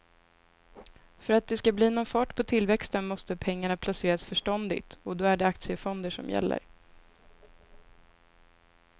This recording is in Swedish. För att det ska bli någon fart på tillväxten måste pengarna placeras förståndigt och då är det aktiefonder som gäller.